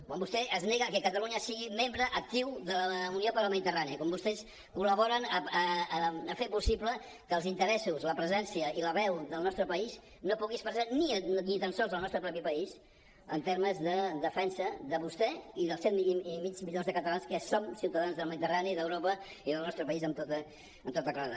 quan vostè es nega que catalunya sigui membre actiu de la unió per la mediterrània quan vostès col·laboren a fer possible que els interessos la presència i la veu del nostre país no pugui expressar ni tan sols en el nostre propi país en termes de defensa de vostè i dels set i mig milió de catalans que som ciutadans del mediterrani d’europa i del nostre país amb tota claredat